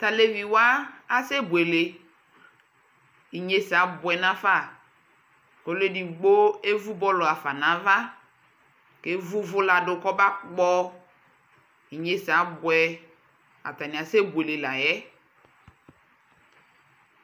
tʋ alɛvi wa asɛ bʋɛlɛ, inyɛzɛ abʋɛ nʋ aƒa ɔlʋ ɛdigbɔ ɛvʋ ballʋ hafa nʋ aɣa kʋ ɛvʋʋvʋ ladʋ kʋ ɔba kpɔ inyɛsɛ abʋɛ atani asɛ bʋɛlɛ layɛ